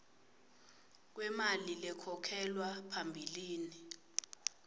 kwemali lekhokhelwa phambilini